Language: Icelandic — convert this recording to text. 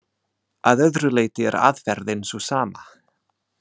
Að öðru leyti er aðferðin sú sama.